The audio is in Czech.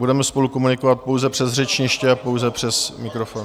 Budeme spolu komunikovat pouze přes řečniště a pouze přes mikrofon...